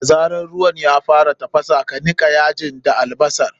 Da zarar ruwan ya fara tafasa, ka nika yajin ka albasar.